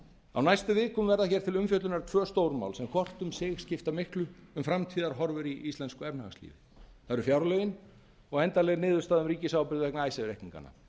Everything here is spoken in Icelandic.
á næstu vikum verða hér til umfjöllunar tvo stórmál sem hvort um sig skipta miklu um framtíðarhorfur í íslensku efnahagslífi það eru fjárlögin og endanleg niðurstaða um ríkisábyrgð vegna icesave reikninganna